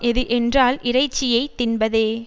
எது என்றால் இறைச்சியை தின்பதே